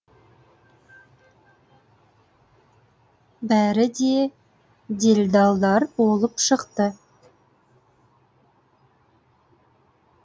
бәрі де делдалдар болып шықты